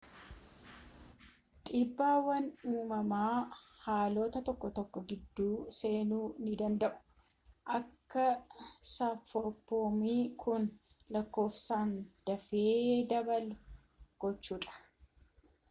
dhiibbaawwan uumamaa haalota tokko tokko gidduu seenuu ni danda'u akka saphaphuun kun lakkoofsaan dafee dabalu gochuudhaan